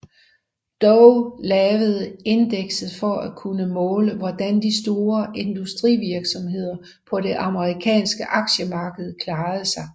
Dow lavede indekset for at kunne måle hvordan de store industrivirksomheder på det amerikanske aktiemarked klarede sig